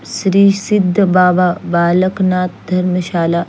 Shri Sidh Baba Balak Nath Dharamshala --